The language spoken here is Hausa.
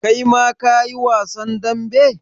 Kai ma ka yi wasan dambe?